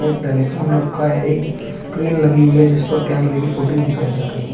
एक टेलीफोन रखा है एक स्क्रीन लगी हुई है जिस पर कैमरे की फुटेज दिखाई जा रही है।